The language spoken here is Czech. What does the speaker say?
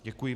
Děkuji.